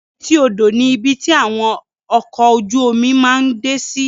Èti odo ni ibi ti awọn ọkọ ojú omi máa ǹ de si